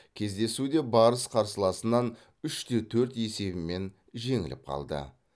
кездесуде барыс қарсыласынан үш те төрт есебімен жеңіліп қалды